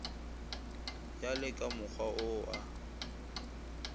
ya le kamokgwa wo a